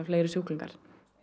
fleiri sjúklingar